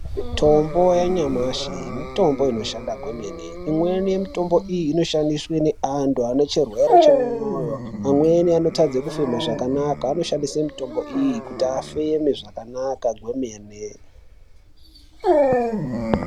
Mitombo yanyamashi mitombo inoshanda kwemene imweni yemitombi iyi inoshandiswe neantu anechirwere chemoyo amweni anotadze kufema zvakanaka anoshandise mutombo iyi kuti afeme zvakanaka kwemene.